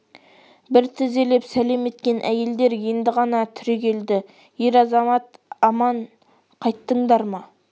бір тізелеп сәлем еткен әйелдер енді ғана түрегелді ер-азамат аман қайттыңдар ма